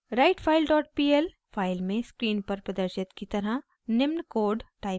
writefile dot pl file में screen पर प्रदर्शित की तरह निम्न कोड टाइप करें